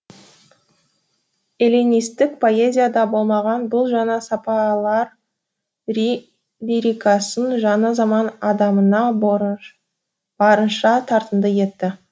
эллинистік поэзияда болмаған бұл жаңа сапалар лирикасын жаңа заман адамына барынша тартымды етті